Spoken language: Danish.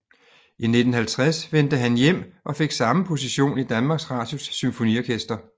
I 1950 vendte han hjem og fik samme position i Danmarks Radios Symfoniorkester